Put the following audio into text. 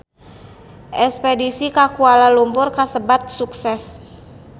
Espedisi ka Kuala Lumpur kasebat sukses